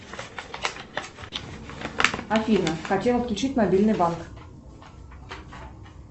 афина хотела включить мобильный банк